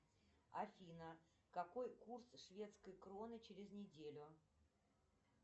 афина какой курс шведской кроны через неделю